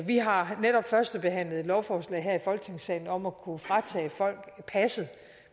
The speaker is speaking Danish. vi har netop førstebehandlet et lovforslag her i folketingssalen om at kunne fratage folk passet